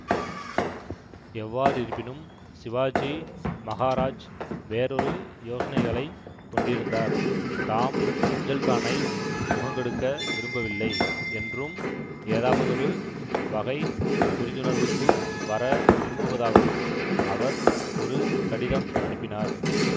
எவ்வாறிருப்பினும் சிவாஜி மகாராஜ் வேறொரு யோசனைகளைக் கொண்டிருந்தார் தாம் அப்ஜல்கானை முகங்கொடுக்க விரும்பவில்லை என்றும் ஏதாவதொரு வகை புரிந்துணர்வுக்கு வர விரும்புவதாகவும் அவர் ஒரு கடிதம் அனுப்பினார்